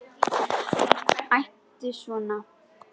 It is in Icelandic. Æptu ekki svona!